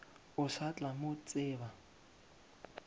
o sa tla mo tseba